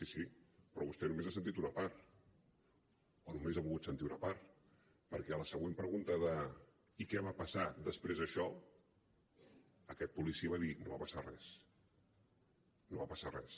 sí sí però vostè només ha sentit una part o només ha volgut sentir una part perquè a la següent pregunta de i què va passar després d’això aquest policia va dir no va passar res no va passar res